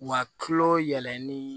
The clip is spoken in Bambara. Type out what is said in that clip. Wa kulo yɛlɛli